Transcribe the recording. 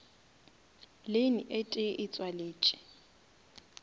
lane e tee e tšwaletše